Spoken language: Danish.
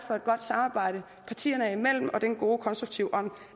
for et godt samarbejde partierne imellem og for den gode konstruktive ånd